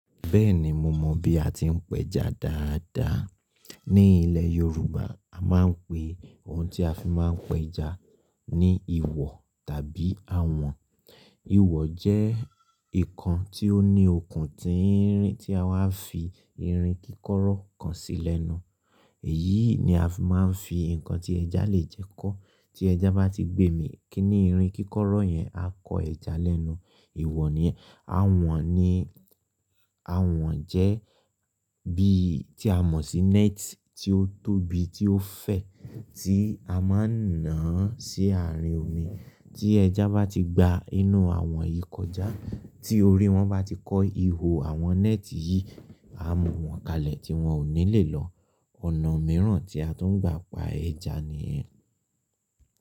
Bẹ́ẹ̀ni mo mọ bí a ti ń pẹja dáadáa. Ní ilẹ̀ Yorùbá a máa ń pe ohun tí a fi máa ń pẹja ní ìwọ̀ tàbí awọ̀n. Ìwọ̀ jẹ́ nǹkan tí ó ní okùn tínrin ti a wá fi irin kíkọ́rọ́ kan sí lẹ́nu. Èyí ni a fi máa ń fi ǹkan tí ẹja lè jẹ kọ́. Tí ẹja bá ti gbemì kí ní irin kíkọ́rọ́ yẹn, a kọ ẹja lẹ́nu. Awọ̀n ni, awọ̀n jẹ́ bí tí a mọ̀ sí net tí ó tóbi, tí ó fẹ̀, tí a máa ń ná àán sí àárín omi. Tí ẹja bá ti gba inú àwọn yìí kọjá, tí orí wọn bá ti kọ́ ihò àwọn net yìí, a mọ̀ wọ́n kalẹ̀ tí wọn ò ní lè lọ. Ọ̀nà mìíràn tí a tuń gbà pa ẹja nìyẹn.